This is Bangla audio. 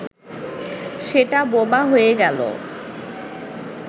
সেটা বোবা হয়ে গেল